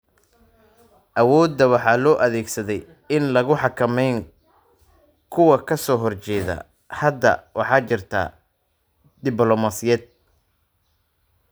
Awoodda waxaa loo adeegsaday in lagu xakameeyo kuwa ka soo horjeeda. Hadda waxaa jirta diblomaasiyad.